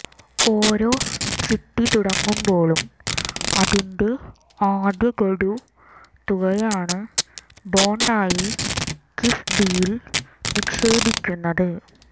ഓരോ ചിട്ടി തുടങ്ങുമ്പോഴും അതിന്റെ ആദ്യ ഗഡു തുകയാണ് ബോണ്ടായി കിഫ്ബിയിൽ നിക്ഷേപിക്കുന്നത്